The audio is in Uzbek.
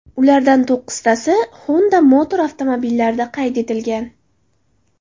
Ulardan to‘qqiztasi Honda Motor avtomobillarida qayd etilgan.